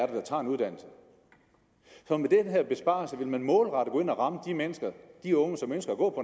der tager en uddannelse så med den her besparelse vil man målrettet gå ind og ramme de unge som ønsker at gå